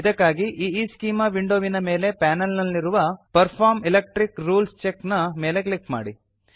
ಇದಕ್ಕಾಗಿ ಈಸ್ಚೆಮಾ ವಿಂಡೊವಿನ ಮೇಲಿನ ಪಾನಲ್ ನಲ್ಲಿರುವ ಪರ್ಫಾರ್ಮ್ ಎಲೆಕ್ಟ್ರಿಕ್ ರೂಲ್ಸ್ ಚೆಕ್ ನ ಮೇಲೆ ಕ್ಲಿಕ್ ಮಾಡಿ